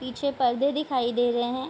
पीछे पर्दे दिखाई दे रहे हैं।